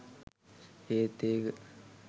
ඒත් ඒක